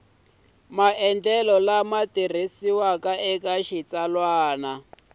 maendlelo lama tirhisiwaka eka xitsalwana